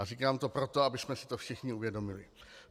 A říkám to proto, abychom si to všichni uvědomili.